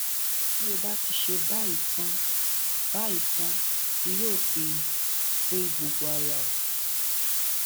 tó bá ti ṣe báyìí tán báyìí tán ni yóò fi wé gbogbo ara ẹ